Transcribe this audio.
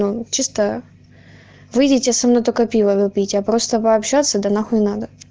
он чисто выйдите со мной только пиво попить а просто пообщаться да нахуй надо